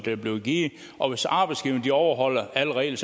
er blevet givet og hvis arbejdsgiverne overholder alle regler